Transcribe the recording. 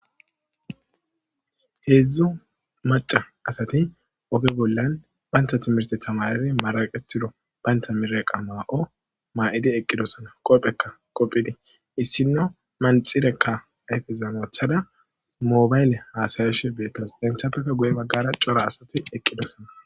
heedzdzo maca asati oge bollan baynta timirse tamairi maraqetido baynta mire qa maa7o maa7idi eqqidosona qopphekka qopphidi issinno manxirekka ayfezamothada moobayle haasayashe beettoos denthapfeka guye baggara cora asati eqqidosona